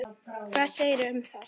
Hvað segirðu um það?